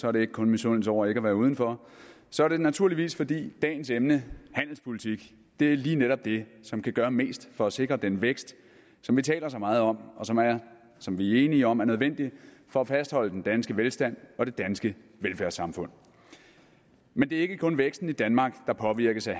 er det ikke kun i misundelse over ikke at være udenfor så er det naturligvis fordi dagens emne handelspolitik lige netop er det som kan gøre mest for at sikre den vækst som vi taler så meget om og som vi er enige om er nødvendig for at fastholde den danske velstand og det danske velfærdssamfund men det er ikke kun væksten i danmark der påvirkes af